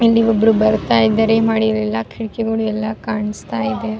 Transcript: ಇಲ್ಲಿ ಒಬ್ಬರು ಬರುತ್ತಾ ಇದ್ದಾರೆ ಮಹಡಿಗಳೆಲ್ಲ ಕಿಟಕಿಗಳು ಎಲ್ಲ ಕಾಣಿಸ್ತಾ ಇದೆ-